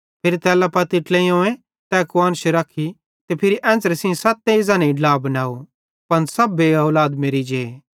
फिरी तैल्ला पत्ती ट्लेइयोवं तै कुआन्श रखी फिरी एन्च़रे सेइं सत्तेईं ज़नेईं ड्ला बनाव पन सब बेऔलाद मेरि जे